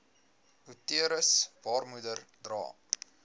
uterus baarmoeder dra